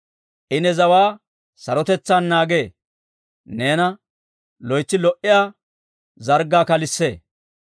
I ne zawaa sarotetsaan naagee; neena loytsi lo"iyaa zarggaa kalissee.